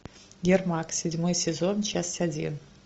ермак седьмой сезон часть один